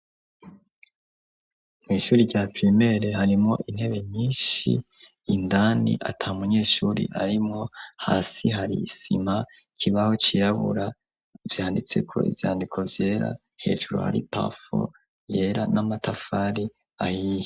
Mw' ishuri rya pirimere harimo intebe nyinshi, indani ata munyeshuri arimwo, hasi hari isima, ikibaho cirabura vyanditse ko ivyandiko vyera hejuru hari pafo yera n'amatafari ahiye.